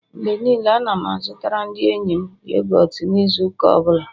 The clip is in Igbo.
Mgbe niile, Ana m azụtara ndi enyi m yogọt n'izu ụka ọ bụla